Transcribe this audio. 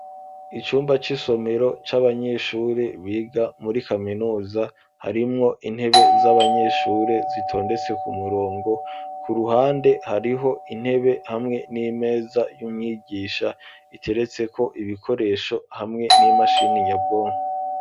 Icumba c'isomero c'abanyeshuri biga muri kaminuza harimwo intebe z'abanyeshuri zitondetse ku murongo. Ku ruhande hariho intebe hamwe n'imeza y'umwigisha iteretseko ibikoresho hamwe n'imashini nyabwonko.